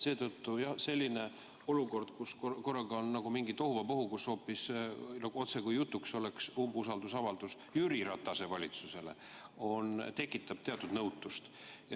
Seetõttu tekitab selline olukord, kus korraga on mingi tohuvabohu, otsekui oleks jutuks umbusalduse avaldamine hoopis Jüri Ratase valitsusele, teatud nõutust.